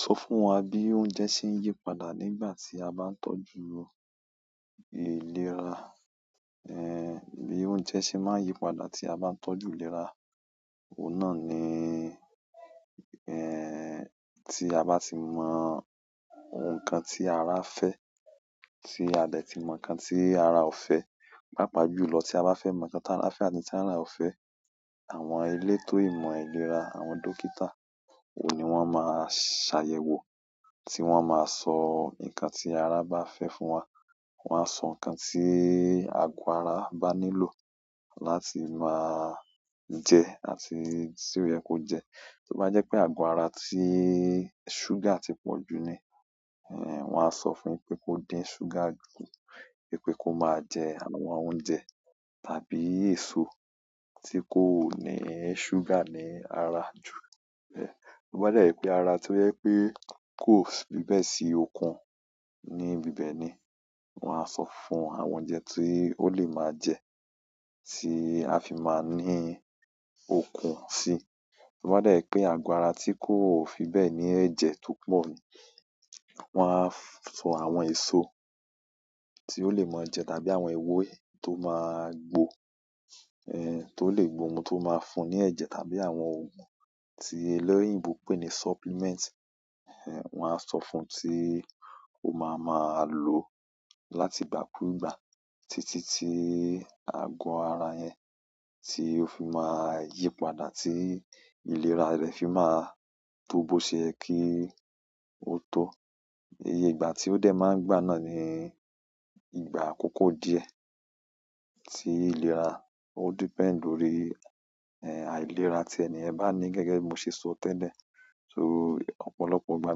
Sọ fún wa bí oúnjẹ ṣe ń yípadà nígbà tí a bá ń tọ́jú ìlera. Ẹ̀ bí oúnjẹ ṣe máa ń yí padà tí a bá ń tọ́jú ìlera òun náà ni, ẹ́ẹ́, tí a bá ti mọ ohun kan tí ara fẹ́, tí a dẹ̀ ti mọ nǹkan tí ara ò fẹ́. Pápá jùlọ tí a bá fẹ́ mọ nǹkan tí ara fẹ́ àti n tí ara ò fẹ́, àwọn elétò ìmọ̀ ìlera, àwọn dókítà, òun ni wọ́n máa ṣàyẹ̀wò, tí wọ́n máa sọ ǹnkan tí ara bá fẹ́ fún wa. Wọn á sọ ǹnkan tí agọ ara bá nílò láti máa jẹ àti tí ó yẹ kó jẹ. Ti ó bá jẹ́ pé ago ara tí ṣúgà ti pọ̀jù ni, wọ́n á sọ fún pé kó dín ṣúgà kù, pé kó máa jẹ àwọn oúnjẹ tàbí èso tí kò ní ṣúgà ní ara jù. Ti o bá dẹ jẹ́ pé ara tó yẹ pé kó fi bẹ́ẹ̀ sí okun ní bíbẹ ni, wọ́n á sọ fún àwọn oúnjẹ tí ó lè máa jẹ, tí a fi máa ń ní okun síi. Ti ó bá dẹ jẹ́ pé ago ara tí kò fi bẹ́ẹ̀ ní ẹ̀jẹ̀ tó pọ̀ ni, wọ́n á sọ àwọn èso tí ó lè máa jẹ tàbí àwọn ewé tó máa gbò, ẹ́ẹ́, tó lè gbómu tó máa ń fún ní ẹ̀jẹ̀ tàbí àwọn ògùn tí eleyinbò pè ní supplement, wọ́n á sọ fún ẹ tí ó máa máa lo láti ìgbàkúgbà títí tí ago ara yẹn tí ó fi máa ń yípadà tí ìlera rẹ̀ fi máa tó bó ṣe yẹ kí ó tó. Iye ìgbà tí ó dẹ máa ń gbà náà ni ìgbà àkókò díẹ̀ tí ìlera. Ó depend lórí, ẹ́ẹ́, àìlera tí eniyẹn bá ní. Gẹ́gẹ́ bí mo ṣe sọ tẹ́lẹ̀, so ọ̀pọ̀lọpọ̀ ìgbà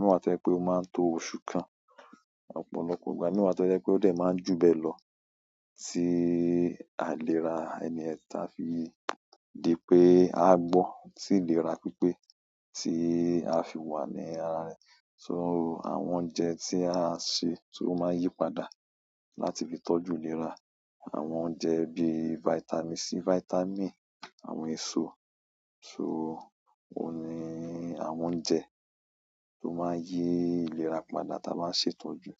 mii wa to jẹ pé ó máa ń to oṣù kan. Ọ̀pọ̀lọpọ̀ ìgbà mii wa to jẹ pé ó dẹ máa jù bẹ́ẹ̀ lọ tí aìlera ẹniyẹn ta fi di pé a gbọ́ tí ìlera pípé tí a fi wà ní ara rẹ̀. So àwọn oúnjẹ tí à ń se tó máa ń yípadà láti fi tọ́jú ìlera, àwọn oúnjẹ bí vitamin C, vitamin, àwọn èso. So òun ni àwọn oúnjẹ tó máa ń yí ìlera padà tí a bá ń ṣe ìtọ́jú.